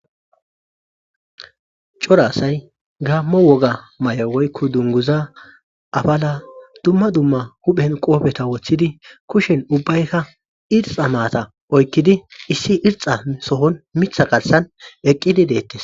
cora asay gaammo woga may7o woykko dunguza afala dumma dumma huphen qoofeta woththidi kushen ubbaykka irxa maata oykkidi issi irxa sohon mitha qalsan eqqidi deettes